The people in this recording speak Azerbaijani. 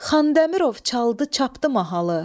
Xandəmirov çaldı, çapdı mahalı.